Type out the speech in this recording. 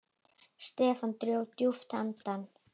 Stefán dró djúpt andann.